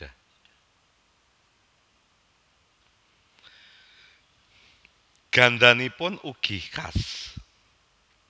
Gandhanipun ugi khas